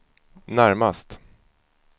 närmast